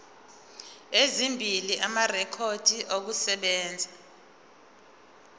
ezimbili amarekhodi okusebenza